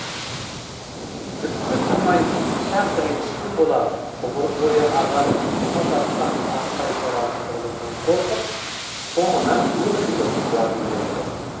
түкке тұрмайтын ұсақ ренішке бола ғұмыр бойы адамын суға батқан тастай жоғалтып алудан қорқып соңынан өкшелеп қуа жөнелді